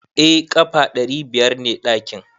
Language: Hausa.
Eh ƙafa ɗari biyar ne ɗakin.